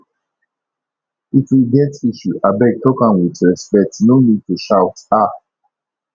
if we get issue abeg talk am with respect no need to shout um